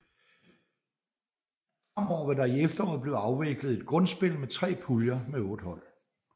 Fremover vil der i efteråret blive afviklet et grundspil med 3 puljer med 8 hold